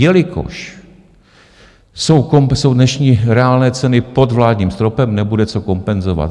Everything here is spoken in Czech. Jelikož jsou dnešní reálné ceny pod vládním stropem, nebude se kompenzovat.